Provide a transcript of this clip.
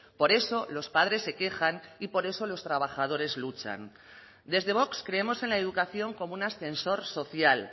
por eso los padres se quejan y por eso los trabajadores luchan desde vox creemos en la educación como un ascensor social